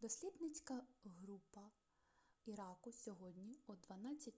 дослідницька група іраку сьогодні о 12:00